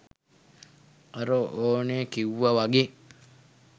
අර ඕනය කිව්ව වගෙ